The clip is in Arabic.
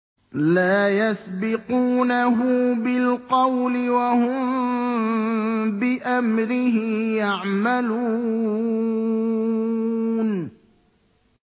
لَا يَسْبِقُونَهُ بِالْقَوْلِ وَهُم بِأَمْرِهِ يَعْمَلُونَ